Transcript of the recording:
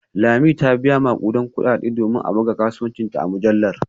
Lami ta biya makudan kudade domin a buga kasuwancinta a mujallar